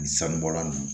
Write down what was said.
Sanu bɔla nunnu